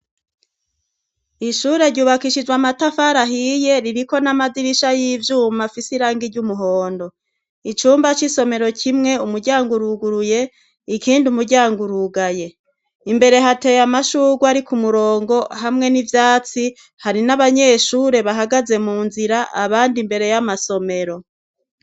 ishure ryubakishijwe amatafari ahiye ririko n'amadirisha y'ivyuma afis irangi ry'umuhondo icumba c'isomero kimwe umuryango uruguruye ikindi umuryango urugaye imbere hateye amashugwe ari ku murongo hamwe n'ivyatsi hari n'abanyeshure bahagaze mu nzira abandi mbere y'amasomero